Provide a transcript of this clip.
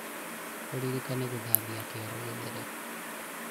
ũririkane gũthabia kĩoro gĩthere